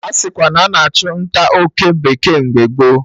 Asikwa na a na-achụ nta oke bekee mgbe gboo